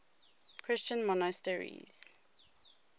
christian monasteries